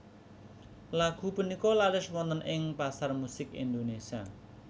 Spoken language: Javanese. Lagu punika laris wonten ing pasar musik Indonésia